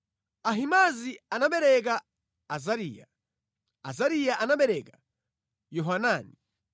Ahimaazi anabereka Azariya, Azariya anabereka Yohanani,